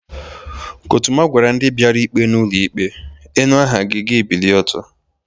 Kọtụma gwara ndị biara ikpe n'ụlọ ikpe, "inu aha gi, gi ebilie ọtọ"